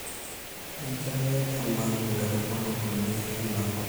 mincho ake eman nkaitubulu kulie anaa nkujit